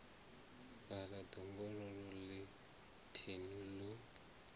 fhaḽa ḓongololo ḽe thenu ḽo